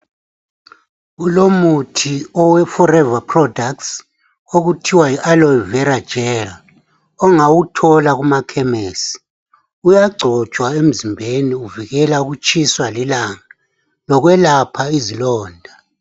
Kulomuthi owe forever product okuthiwa yo Alovera gel ongawuthola kumakhemisi uyagcotshwa emzimbeni uvikela ukutshiswa lilanga lokwelapha izilonda.